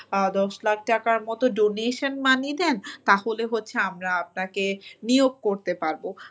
দশ লাখ টাকার মত donation money দেন তাহলে হচ্ছে আমরা আপনাকে নিয়োগ করতে পারব